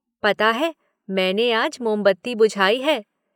पता है मैंने आज मोमबत्ती बुझाई है।